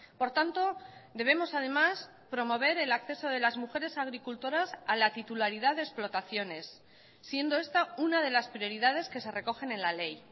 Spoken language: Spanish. por tanto debemos además promover el acceso de las mujeres agricultoras a la titularidad de explotaciones siendo esta una de las prioridades que se recogen en la ley